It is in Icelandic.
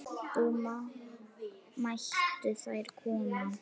Þá mættu þeir koma.